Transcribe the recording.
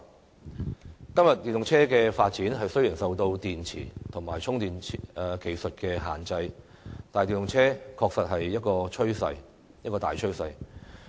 雖然今天電動車的發展受到電池及充電技術的限制，但電動車確實是一種大趨勢。